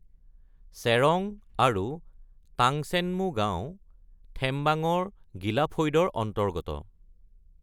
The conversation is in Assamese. চেৰং আৰু টাংচেনমু গাঁও থেমবাঙৰ গীলা ফৈদৰ অন্তৰ্গত।